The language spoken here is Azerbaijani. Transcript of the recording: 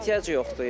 Ehtiyac yoxdur, ee.